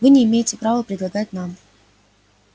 вы не имеете права предлагать нам